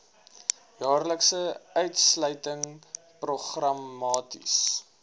jaarlikse uitsluiting programmaties